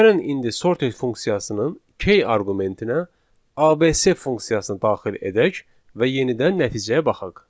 Gəlin indi sorted funksiyasının K arqumentinə ABC funksiyasını daxil edək və yenidən nəticəyə baxaq.